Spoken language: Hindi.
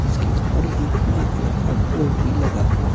इसके ऊपर एक ब्लैक कलर का बॉल भी लगा हुआ--